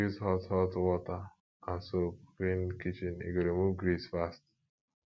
use hot hot water and soap clean kitchen e go remove grease fast